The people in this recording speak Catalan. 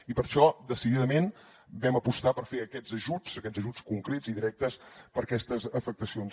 i per això decididament vam apostar per fer aquests ajuts aquests ajuts concrets i directes per aquestes afectacions